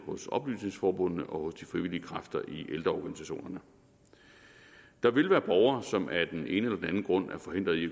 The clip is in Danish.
hos oplysningsforbundene og hos de frivillige kræfter i ældreorganisationerne der vil være borgere som af den ene eller den anden grund er forhindret i